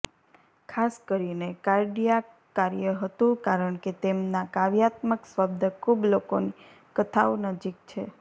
ખાસ કરીને કાર્ડિયાક કાર્ય હતું કારણ કે તેમના કાવ્યાત્મક શબ્દ ખૂબ લોકોની કથાઓ નજીક છે